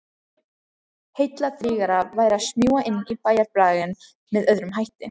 Heilladrýgra væri að smjúga inn í bæjarbraginn með öðrum hætti.